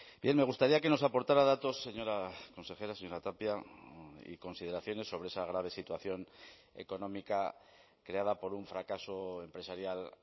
bien me gustaría que nos aportara datos señora consejera señora tapia y consideraciones sobre esa grave situación económica creada por un fracaso empresarial